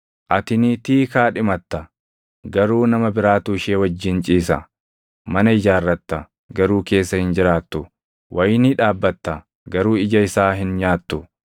Ati niitii kaadhimatta; garuu nama biraatu ishee wajjin ciisa. Mana ijaarratta; garuu keessa hin jiraattu. Wayinii dhaabbatta, garuu ija isaa hin nyaattu.